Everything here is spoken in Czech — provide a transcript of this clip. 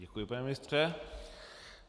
Děkuji, pane ministře.